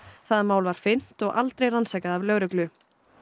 það mál var fyrnt og aldrei rannsakað af lögreglu